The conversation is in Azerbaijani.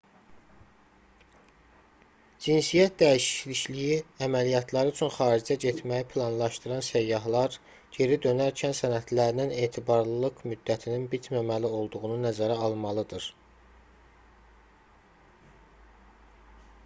cinsiyyət dəyişikliyi əməliyyatları üçün xaricə getməyi planlaşdıran səyyahlar geri dönərkən sənədlərinin etibarlılıq müddətinin bitməməli olduğunu nəzərə almalıdır